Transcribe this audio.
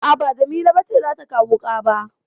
A'a ba Jamila ce za ta kawo wuƙa ba.